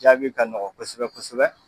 Jaabi ka nɔgɔ kosɛbɛ kosɛbɛ